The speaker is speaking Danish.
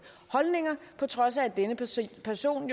holdninger på trods af at denne person person